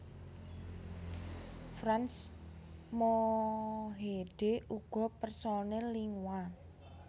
Frans Mohede uga personèl Lingua